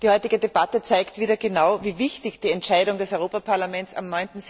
Die heutige Debatte zeigt wieder genau, wie wichtig die Entscheidung des Europaparlaments am